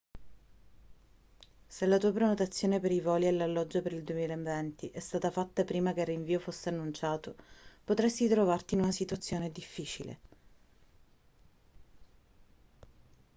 se la tua prenotazione per i voli e l'alloggio per il 2020 è stata fatta prima che il rinvio fosse annunciato potresti trovarti in una situazione difficile